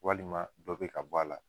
Walima dɔ bɛ ka bɔ a la.